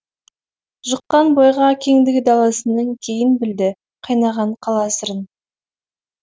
жұққан бойға кеңдігі даласының кейін білді қайнаған қала сырын